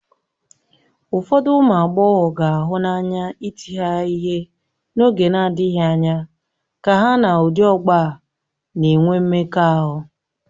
Ụfọdụ ụmụ agbọghọ ga-ahụ n'anya ịti ha ihe n'oge na-adịghị anya ka ha na ụdị ọgbọ a na-enwe mmekọahụ.